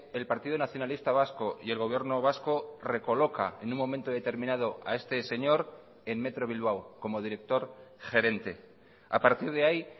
el partido nacionalista vasco y el gobierno vasco recoloca en un momento determinado a este señor en metro bilbao como director gerente a partir de ahí